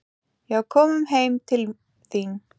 Já, komum heim til þín.